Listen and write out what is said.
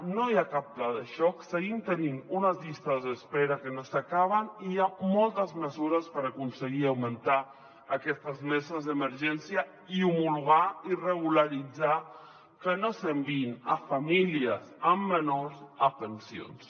no hi ha cap pla de xoc seguim tenint unes llistes d’espe·ra que no s’acaben i hi ha moltes mesures per aconseguir augmentar aquestes meses d’emergència i homologar i regularitzar que no s’enviïn famílies amb menors a pen·sions